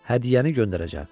Hədiyyəni göndərəcəm.